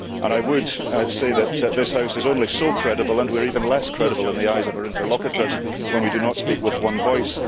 I would say that this House is only so credible, and we are even less credible in the eyes of our interlocutors when we do not speak with one voice.